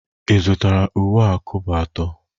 Ị zụtara uwe a kobo atọ?